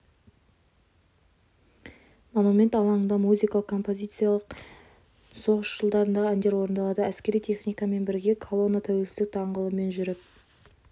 монумент алаңында музыкалық композициялар мен соғыс жылдарындағы әндер орындалады әскери техникамен бірге колонна тәуелсіздік даңғылымен жүріп